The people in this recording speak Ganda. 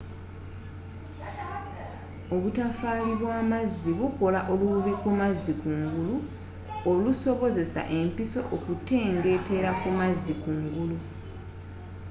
obutofaali bw'amazzi bukola olububi kumazzi kungulu olusobozesa empiso okutengeetera kumazzi kungulu